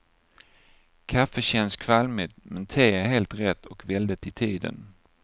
Kaffe känns kvalmigt, men te är helt rätt och väldigt i tiden.